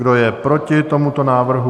Kdo je proti tomuto návrhu?